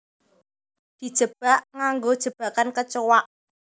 Dijebak nganggo jebakan kecoa